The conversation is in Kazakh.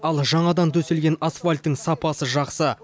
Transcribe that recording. ал жаңадан төселген асфальттің сапасы жақсы